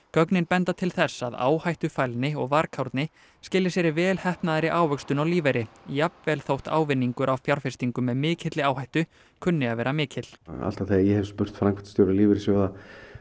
gögnin benda til þess að áhættufælni og varkárni skili sér í vel heppnaðri ávöxtun á lífeyri jafnvel þótt ávinningur af fjárfestingum með mikilli áhættu kunni að vera mikill alltaf þegar ég hef spurt framkvæmdastjóra lífeyrissjóða